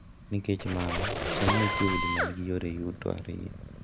Nikech mano, sani nitie udi ma nigi youre yuto ariyo,